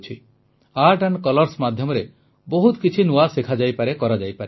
ଚିତ୍ର ଏବଂ ରଙ୍ଗ ମାଧ୍ୟମରେ ବହୁତ କିଛି ନୂଆ ଶିଖାଯାଇପାରେ କରାଯାଇପାରେ